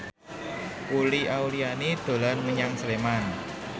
Uli Auliani dolan menyang Sleman